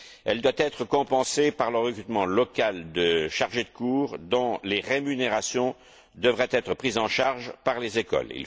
Elle doit être compensée par le recrutement local de chargés de cours dont les rémunérations devraient être prises en charge par les écoles.